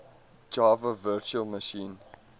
java virtual machine